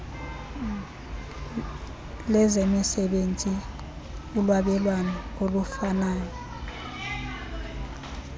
lezemisebenzi ulwabelwano olufanayo